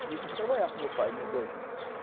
E aí comecei a trabalhar com meu pai, mês de dezembro.